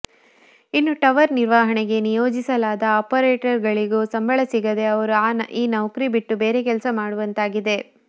ಇನ್ನು ಟವರ್ ನಿರ್ವಹಣೆಗೆ ನಿಯೋಜಿಸಲಾದ ಆಪರೇಟರ್ಗಳಿಗೂ ಸಂಬಳ ಸಿಗದೇ ಅವರು ಈ ನೌಕರಿ ಬಿಟ್ಟು ಬೇರೆ ಕೆಲಸ ಮಾಡುವಂತಾಗಿದೆ